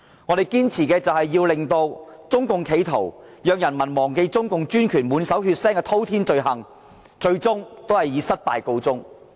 我們的堅持，是要令中共要人民忘記中共專權滿手血腥滔天罪行的企圖，最終以失敗告終。